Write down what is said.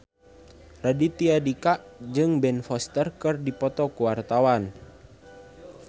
Raditya Dika jeung Ben Foster keur dipoto ku wartawan